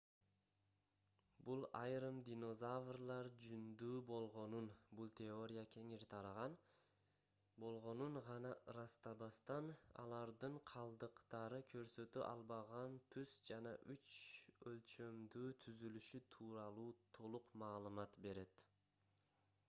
бул айрым динозаврлар жүндүү болгонун бул теория кеңири тараган гана ырастабастан алардын калдыктары көрсөтө албаган түс жана үч өлчөмдүү түзүлүшү тууралуу толук маалымат берет